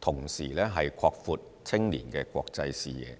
同時擴闊青年的國際視野。